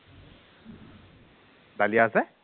dahlia আছে